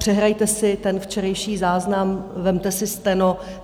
Přehrajte si ten včerejší záznam, vezměte si steno.